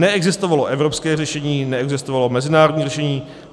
Neexistovalo evropské řešení, neexistovalo mezinárodní řešení.